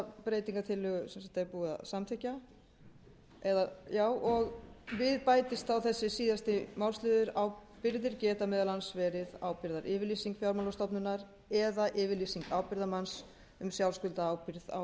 er búið að samþykkja og við bætist þá þessi síðasti málsliður ábyrgðir geta meðal annars verið ábyrgðaryfirlýsing fjármálastofnunar eða yfirlýsing ábyrgðarmanns um sjálfskuldarábyrgð á endurgreiðslu námsláns ásamt